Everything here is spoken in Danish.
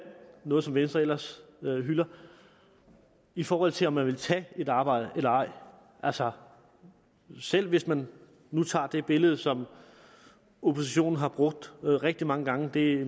noget som venstre ellers hylder i forhold til om man vil tage et arbejde eller ej altså selv hvis man nu tager det billede som oppositionen har brugt rigtig mange gange det er